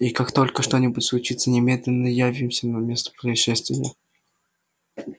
и как только что-нибудь случится немедленно явимся на место происшествия